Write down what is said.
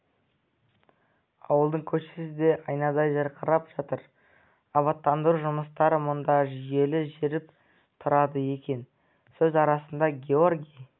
ауылдың көшесі де айнадай жарқырап жатыр абаттандыру жұмыстары мұнда жүйелі жүріп тұрады екен сөз арасында георгий